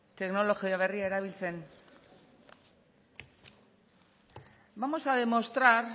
teknologia berria erabiltzen vamos a demostrar